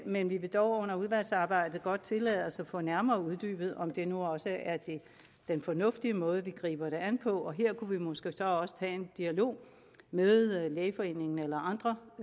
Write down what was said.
men vi vil dog under udvalgsarbejdet godt tillade os at få nærmere uddybet om det nu også er den fornuftige måde vi griber det an på og her kunne vi måske så også tage en dialog med lægeforeningen eller andre